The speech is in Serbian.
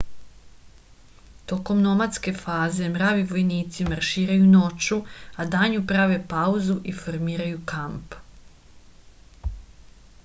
tokom nomadske faze mravi vojnici marširaju noću a danju prave pauzu i formiraju kamp